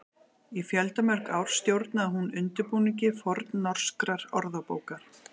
Í fjöldamörg ár stjórnaði hún undirbúningi fornnorskrar orðabókar.